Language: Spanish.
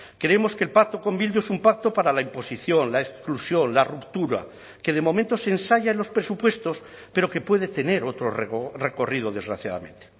creemos que el pacto con bildu es un pacto para la imposición la exclusión la ruptura que de momento se ensaya en los presupuestos pero que puede tener otro recorrido desgraciadamente